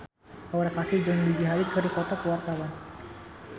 Aura Kasih jeung Gigi Hadid keur dipoto ku wartawan